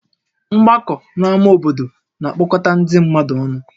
Mgbakọ n'ámá obodo na-akpọkọta ndị mmadụ ọnụ